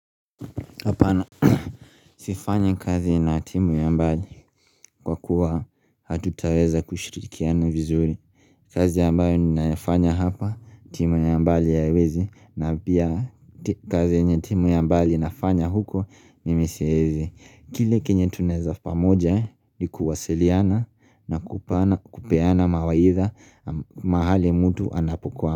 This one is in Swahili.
Sifanyi kazi na timu ya mbali kwa kuwa hatutaweza kushirikiana vizuri kazi ambayo ninayafanya hapa, timu ya mbali haiwezi na pia kazi yenye timu ya mbali inafanya huko mimi siezi. Kile kenye tunaeza pamoja ni kuwasiliana na kupeana mawaidha mahali mtu anapokwa.